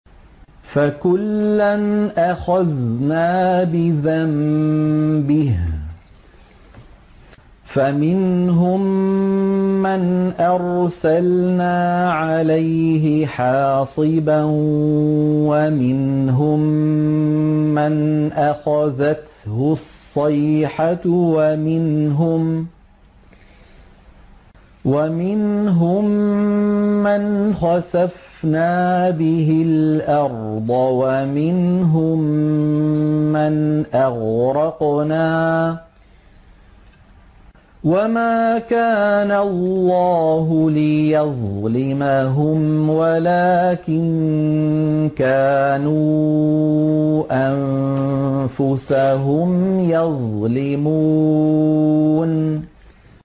فَكُلًّا أَخَذْنَا بِذَنبِهِ ۖ فَمِنْهُم مَّنْ أَرْسَلْنَا عَلَيْهِ حَاصِبًا وَمِنْهُم مَّنْ أَخَذَتْهُ الصَّيْحَةُ وَمِنْهُم مَّنْ خَسَفْنَا بِهِ الْأَرْضَ وَمِنْهُم مَّنْ أَغْرَقْنَا ۚ وَمَا كَانَ اللَّهُ لِيَظْلِمَهُمْ وَلَٰكِن كَانُوا أَنفُسَهُمْ يَظْلِمُونَ